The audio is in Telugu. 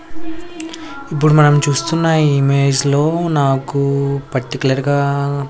ఇప్పుడు మనం చూస్తున్న ఈ ఇమేజ్లో నాకు పర్టికులర్గా --